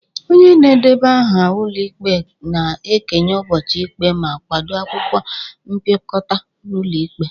Onye na-edeba aha ụlọ ikpe na-ekenye ụbọchị ikpe ma kwado akwụkwọ mpịakọta ụlọikpe